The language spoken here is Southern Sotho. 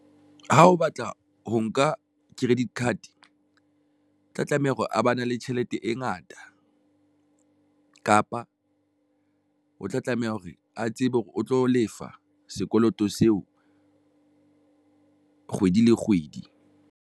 Ha o batla ho nka credit card, o tla tlameha hore a ba na le tjhelete e ngata kapa o tla tlameha hore a tsebe hore o tlo lefa sekoloto seo kgwedi le kgwedi.